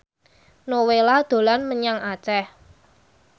Nowela dolan menyang Aceh